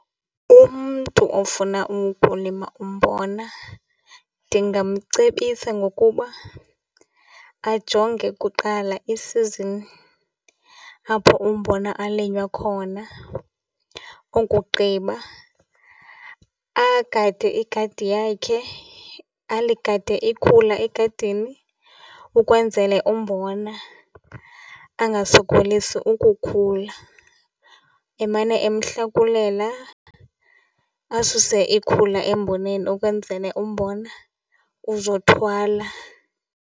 Umntu ofuna ukulima umbona ndingamcebisa ngokuba ajonge kuqala i-season apho umbona alwinywa khona. Okugqiba agade igadi yakhe, aligade ikhula egadini ukwenzele umbona angasokolisi ukukhula, emane emhlakulela, asuse ikhula emboneni ukwenzele umbona uzothwala.